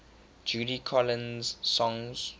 judy collins songs